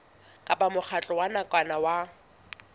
kapa mokgatlo wa nakwana o